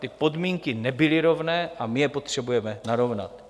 Ty podmínky nebyly rovné a my je potřebujeme narovnat.